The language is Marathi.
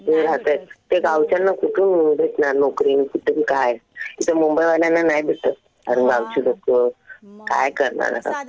ते राहतायेत, ते गावच्यांना कुठून भेटणार नोकरी? आणि कुठून काय? इथं मुंबईवाल्याना नाही भेटत. आणि गावची लोकं काय करणार आता.